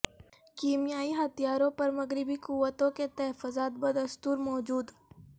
کیمیائی ہتھیاروں پر مغربی قوتوں کے تحفظات بدستور موجود